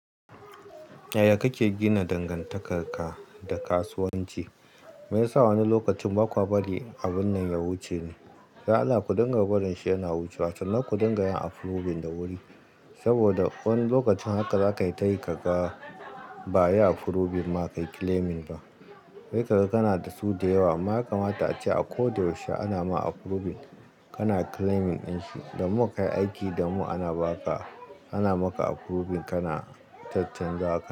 Yaya kake gina dangantakar ka da kasuwanci? Meyasa wani lokacin ba kuwa bari abun nan ya wuce ne? Dan Allah, ku dinga barin shi yana wucewa, sannan ku dinga yin approving da wuri. Saboda wani lokacin haka za kai yi ta yi, ka ga ba yi approving ma kai claiming ba. Sai ka ga kana da su da yawa. Ma yakama ace akoda yaushe ana ma approving, kana claiming din shi. The more ka yi aiki the more ana ba ka, ana maka approving, kana cha-chan zawa ka.